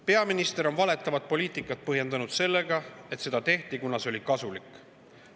" Peaminister on valetavat poliitikat põhjendanud sellega, et seda tehti, kuna see oli kasulik.